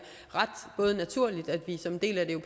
ret naturligt at vi som en del af